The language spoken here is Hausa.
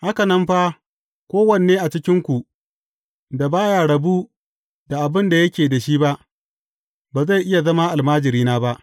Haka nan fa, kowane ne a cikinku, da ba ya rabu da abin da yake da shi ba, ba zai iya zama almajirina ba.